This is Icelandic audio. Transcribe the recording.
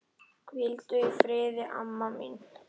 Hvíldu í friði, amma mín.